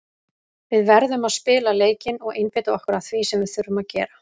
Við verðum að spila leikinn og einbeita okkur að því sem við þurfum að gera.